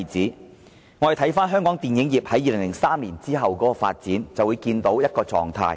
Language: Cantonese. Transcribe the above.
如果大家看香港電影業在2003年後的發展，就會看到一種狀態。